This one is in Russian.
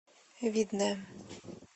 видное